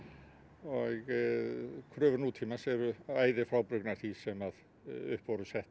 og kröfur nútímans eru æði frábrugðnar því sem sett